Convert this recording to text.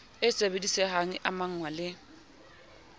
e sebedisehang e amahngwa le